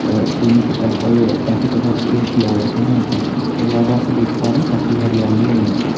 और pink purple काफी colours के फ्लावर्स है यहाँ पे इसके अलावा आप देख पा रहे काफी हरयाली है यहाँ पे।